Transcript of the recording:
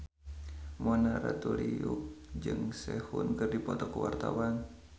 Mona Ratuliu jeung Sehun keur dipoto ku wartawan